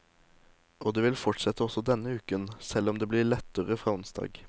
Og det vil fortsette også denne uken, selv om det blir litt lettere fra onsdag.